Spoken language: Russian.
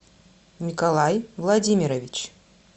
николай владимирович